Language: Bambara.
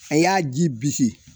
A y'a ji bisi